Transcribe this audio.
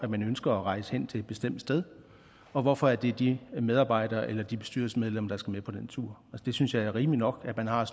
man ønsker at rejse hen til et bestemt sted og hvorfor det er de medarbejdere eller de bestyrelsesmedlemmer der skal med på den tur jeg synes det er rimeligt nok at man har